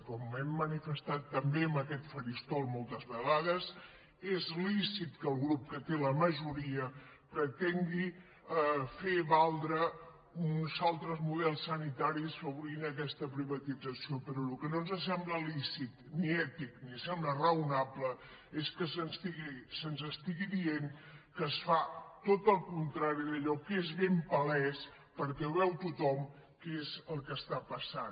com hem manifestat també en aquest faristol moltes vegades és lícit que el grup que té la majoria pretengui fer valdre uns altres models sanitaris obrint aquesta privatització però el que no ens sembla lícit ni ètic ni sembla raonable és que se’ns estigui dient que es fa tot el contrari d’allò que és ben palès perquè ho veu tothom que és el que està passant